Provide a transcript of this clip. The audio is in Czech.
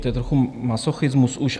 To je trochu masochismus už.